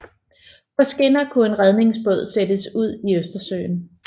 På skinner kunne en redningsbåd sættes ud i Østersøen